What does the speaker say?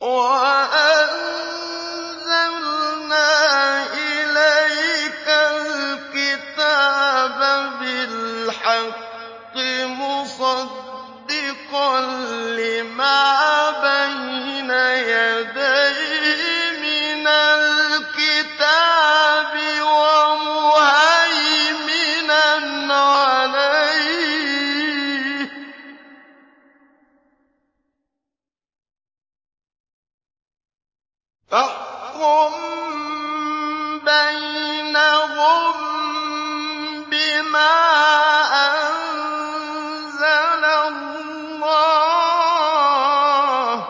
وَأَنزَلْنَا إِلَيْكَ الْكِتَابَ بِالْحَقِّ مُصَدِّقًا لِّمَا بَيْنَ يَدَيْهِ مِنَ الْكِتَابِ وَمُهَيْمِنًا عَلَيْهِ ۖ فَاحْكُم بَيْنَهُم بِمَا أَنزَلَ اللَّهُ ۖ